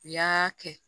U y'aa kɛ